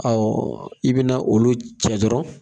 Ɔ i bɛna olu cɛ dɔrɔn